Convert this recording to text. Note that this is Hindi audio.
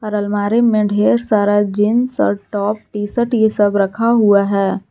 और अलमारी में ढेर सारा जींस और टॉप टी शर्ट ये सब रखा हुआ है।